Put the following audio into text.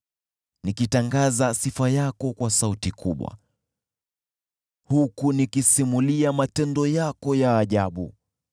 nikitangaza sifa yako kwa sauti kubwa, huku nikisimulia matendo yako ya ajabu.